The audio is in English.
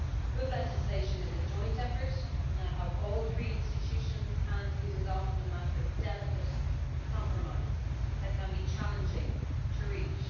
Good legislation is a joint effort between all three institutions, and it is often a matter of delicate compromise that can be challenging to reach.